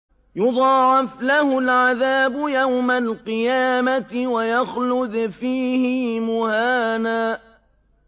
يُضَاعَفْ لَهُ الْعَذَابُ يَوْمَ الْقِيَامَةِ وَيَخْلُدْ فِيهِ مُهَانًا